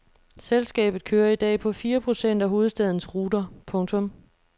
Selskabet kører i dag på fire procent af hovedstadens ruter. punktum